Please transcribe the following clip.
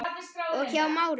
og Hjá Márum.